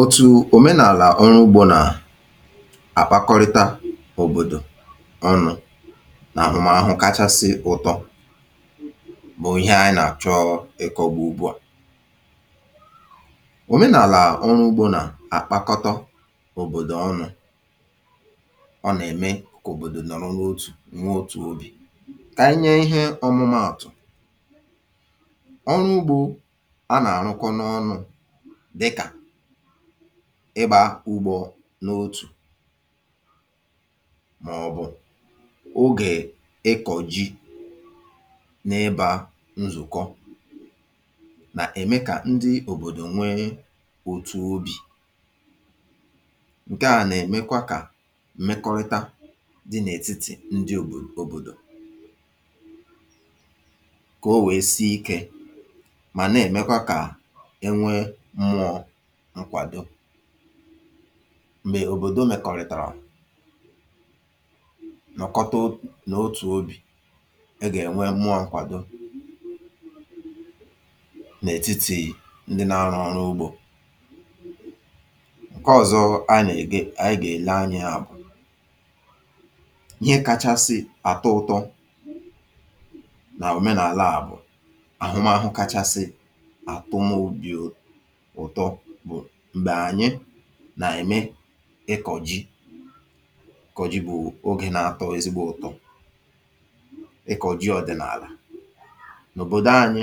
Otù òmenàlà ọrụ ugbȯ nà àkpakọrịta òbòdò ọnụ̇ nà àhụmàahụ kachasị ụtọ bụ̀ ihe ànyị nà àchọ ị̀kọwà ugbu a. Omenàlà ọrụ ugbȯ nà àkpakọtọ òbòdò ọnụ̇, ọ nà ème kà òbòdò nọrọ notù, nwee otù obì. Kà anyị nye ihe ọmụmaàtụ̀, ọrụ ugbȯ a nà àrụkọ n’ọnụ̇ dịka ịgbȧ ugbȯ n’otù mà ọ̀ bụ̀ ogè ịkọ̀ ji n’ebȧ nzụ̀kọ nà-ème kà ndị òbòdò nwee òtù obì. Nke à nà-èmekwa kà m̀mekọrịta dị n’ètitì ndị òbòdò kà o wèe sie ikė ma na-emekwa ka e nwee mmụọ̀ nkwàdo. Mgbè òbòdò mèkọ̀rìtàrà, nọ̀kọta otù obì, a gà-ènwe mmụọ nkwàdo nà ètitì ndị na arụ ọrụ ugbȯ. Nke ọ̀zọ a nà-èle anyị na-ele anya ya bụ̀ ihe kȧchȧsị̇ àtọ ụtọ nà omenààlà a bụ̀ àhụmàhụ kachasị àtọ mobi ụtọ bụ mgbe anyị nà-eme ịkọ̀ ji. Ịkọ̀ ji bụ̀ ogè nà-atọ ezigbo ụ̀tọ, ịkọ̀ ji ọ̀dị̀nàlà. N’òbòdo anyị,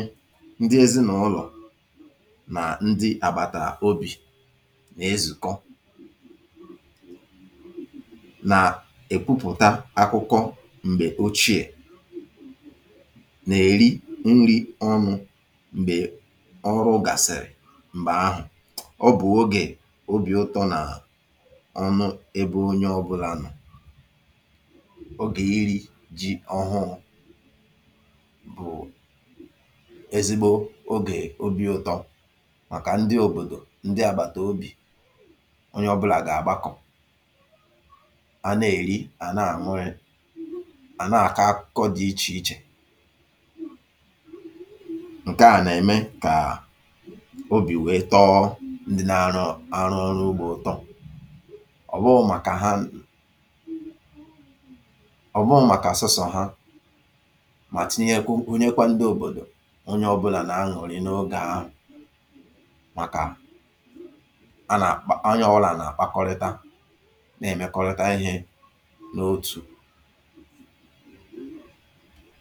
ndị ezinàụlọ̀ nà ndị àgbàtà obì nà-ezùkọ nà èkwupụ̀ta akụkọ m̀gbè ochie, nà-erị nrị̇ ọnụ̇. Mgbè ọrụ gàsị̀rị̀, ọ bụ̀ ogè obì ụtọ̇ nà ọṅụ ebe onye ọbụ̇lȧ nọ. Ogè iri̇ jị̇ ọhụrụ̇ bụ̀ ezigbo ogè obi̇ ụtọ màkà ndị òbòdò ndị àgbàtà obì, onye ọbụ̇là gà-agbakọ, a na-èri, à na-àmụrị, à na-àkọ akụkọ dị ichè ichè. Nke a na-eme kobi wee tọọ ndị nà-àrụ ọrụ ugbȯ ụ̀tọ, ọ̀ bụụ màkà ha ọ̀ bụụ màkà sọsọ̀ ha, mà tinyekwa gụnyekwa ndị òbòdò, onye ọ̇bụ̇là nà-aṅụ̀rị n’ogė ahụ̀ màkà a nà-akpa onye ọ̀wụlà nà-àkpakọrịta na-èmekọrịta ihe n’òtù.